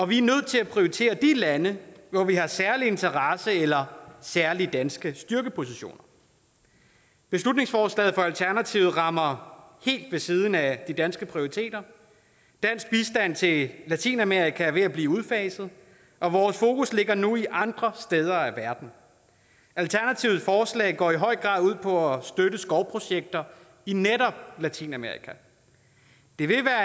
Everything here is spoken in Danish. vi er nødt til at prioritere de lande hvor vi har særlige interesser eller særlige danske styrkepositioner beslutningsforslaget fra alternativet rammer helt ved siden af de danske prioriteter dansk bistand til latinamerika er ved at blive udfaset og vores fokus ligger nu andre steder i verden alternativets forslag går i høj grad ud på at støtte skovprojekter i netop latinamerika det vil være